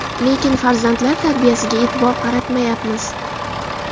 Lekin farzandlar tarbiyasiga e’tibor qaratmayapmiz.